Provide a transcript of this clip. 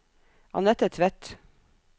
Annette Tvedt